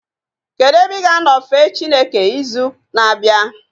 Kedụ ebe ị ga-anọ fee Chineke ịzụ na-abịa?